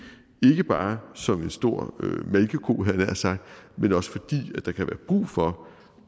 ikke bare som en stor malkeko havde jeg nær sagt men også fordi der kan være brug for